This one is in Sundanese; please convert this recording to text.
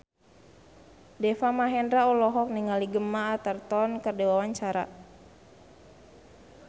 Deva Mahendra olohok ningali Gemma Arterton keur diwawancara